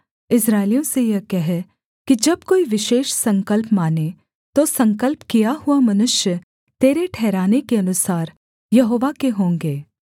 इस्राएलियों से यह कह कि जब कोई विशेष संकल्प माने तो संकल्प किया हुआ मनुष्य तेरे ठहराने के अनुसार यहोवा के होंगे